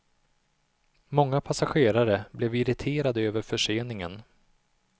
Många passagerare blev irriterade över förseningen.